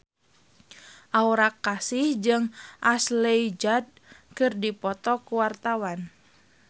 Aura Kasih jeung Ashley Judd keur dipoto ku wartawan